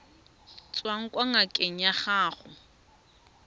tswang kwa ngakeng ya gago